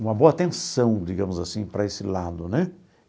uma boa atenção, digamos assim, para esse lado né.